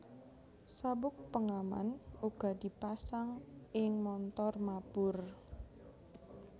Sabuk pengaman uga dipasang ing montor mabur